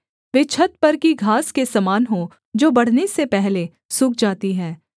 वे छत पर की घास के समान हों जो बढ़ने से पहले सूख जाती है